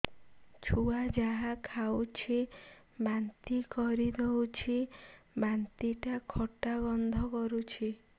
ଛୁଆ ଯାହା ଖାଉଛି ବାନ୍ତି କରିଦଉଛି ବାନ୍ତି ଟା ଖଟା ଗନ୍ଧ କରୁଛି